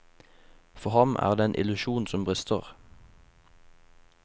For ham er det en illusjon som brister.